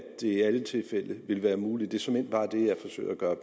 det i alle tilfælde vil være muligt det er såmænd bare det jeg forsøger at gøre